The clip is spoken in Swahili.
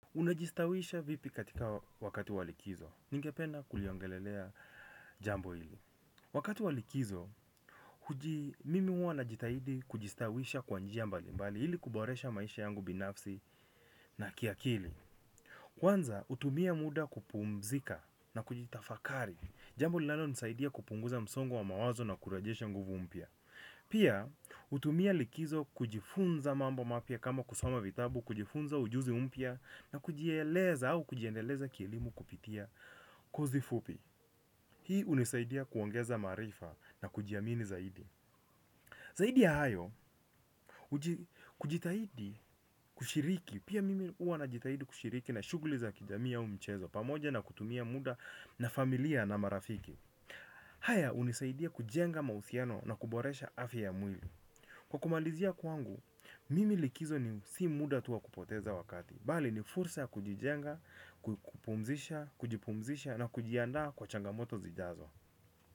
Unajistawisha vipi katika wakati wa likizo. Ningependa kuliongelelea jambo hili. Wakati walikizo, mimi huwa na jitahidi kujistawisha kwanjia mbali. Mbali hili kuboresha maisha yangu binafsi na kiakili. Kwanza, utumia muda kupumzika na kujitafakari. Jambo linalo nisaidia kupunguza msongo wa mawazo na kurajesha nguvu mpya. Pia, utumia likizo kujifunza mamba mapya kama kusoma vitabu. Kujifunza ujuzi umpya na kujieleza au kujiendeleza kielimu kupitia kozi fupi. Hii unisaidia kuongeza marifa na kujiamini zaidi. Zaidi ya hayo kujitahidi kushiriki. Pia mimi uanajitahidi kushiriki na shuguli za kijami ya umichezo. Pamoja na kutumia muda na familia na marafiki haya unisaidia kujenga mausiano na kuboresha afi ya mwili. Kwa kumalizia kwangu mimi likizo ni si muda tu wa kupoteza wakati. Bali ni fursa kujijenga, kukupumzisha, kujipumzisha na kujianda kwa changamoto zijazo.